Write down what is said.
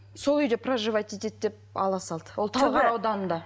сол үйде проживать етеді деп ала салды ол талғар ауданында